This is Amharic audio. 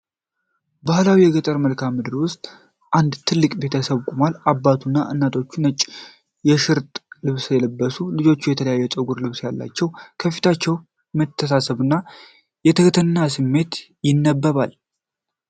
በባህላዊ የገጠር መልክዓ ምድር ውስጥ አንድ ትልቅ ቤተሰብ ቆሟል። አባቱና እናቶቹ ነጭ የሽርጥ ልብስ ሲለብሱ፣ ልጆቹ የተለየ ፀጉርና ልብስ አላቸው። በፊታቸው የመተሳሰብና የትሕትና ስሜት ይነበባል።